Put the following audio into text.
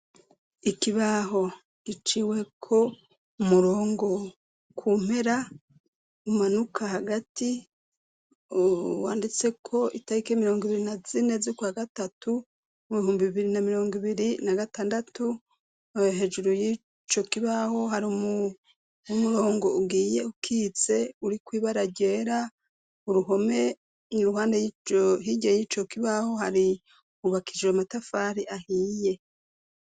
Ikibaho iciwe ko umurongo kumpera umanuka hagati wanditse ko itahike imirongo ibiri na zine zukwa gatatu mu bihumbi ibiri na mirongo ibiri na gatandatu ayo hejuru y'ico kibaho hari umurongo ubwiye ukitse uri kwibaragera uruhome y'iruhanda yigee y'ico kibaho hari ubakijre amatafari ahiye.